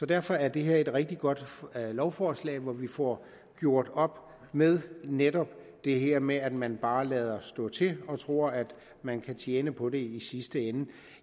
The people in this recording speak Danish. derfor er det her et rigtig godt lovforslag hvor vi får gjort op med netop det her med at man bare lader stå til og tror at man kan tjene på det i sidste ende